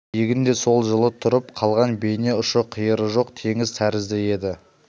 егін де сол жылы тұрып қалған бейне ұшы-қиыры жоқ теңіз тәрізді еді